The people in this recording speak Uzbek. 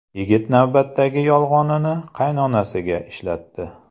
Yigit navbatdagi yolg‘onini qaynonasiga ishlatdi.